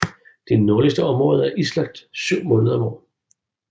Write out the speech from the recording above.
De nordligste områder er islagt 7 måneder